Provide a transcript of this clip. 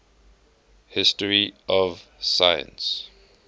history of science